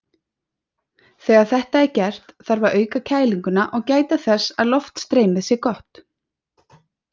Þegar þetta er gert þarf að auka kælinguna og gæta þess að loftstreymið sé gott.